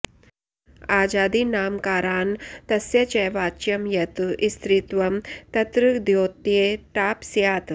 अजादीनामकारान्तस्य च वाच्यं यत् स्त्रीत्वं तत्र द्योत्ये टाप् स्यात्